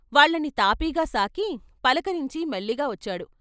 వాళ్ళని తాపీగాసాకి, పలకరించి మెల్లిగా వచ్చాడు.